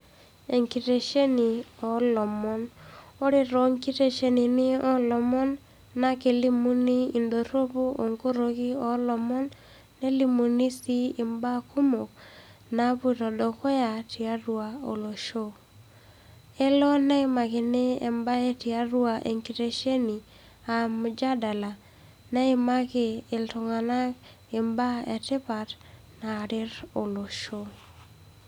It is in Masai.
Enkitesheni olomon, ore tenkiteshesheni olomon na kelimuni, indoropu onkoroki olomon nelimuni si imbaa kumok napoito dukuya tiatua olosho, elo neimakini embae tiatua enkitesheni, aa mjadala, neimaki iltungana imbaa etipat naret olosho.